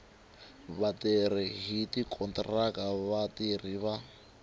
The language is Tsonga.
vatirhi hi tikontiraka vatirhi va